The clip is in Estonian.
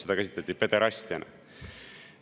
Seda käsitleti pederastiana.